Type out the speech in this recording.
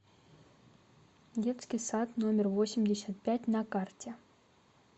детский сад номер восемьдесят пять на карте